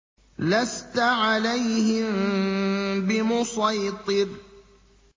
لَّسْتَ عَلَيْهِم بِمُصَيْطِرٍ